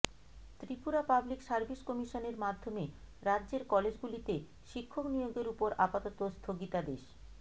Tripura public service কমিশনের মাধ্যমে রাজ্যের কলেজগুলিতে শিক্ষক নিয়োগের উপর আপাতত স্থগিতাদেশ